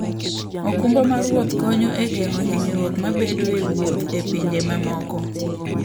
okumba mar wuoth konyo e geng'o hinyruok mabedoe e wuoth e pinje mamoko.